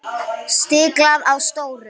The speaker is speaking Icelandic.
Stiklað á stóru